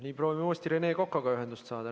Nii, proovime uuesti Rene Kokaga ühendust saada.